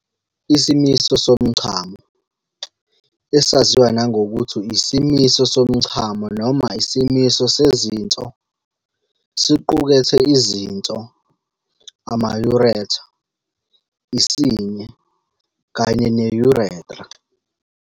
Isimiso somchamo, esaziwa nangokuthi isimiso somchamo noma isimiso sezinso, siqukethe izinso, ama-ureter, isinye, kanye ne-urethra.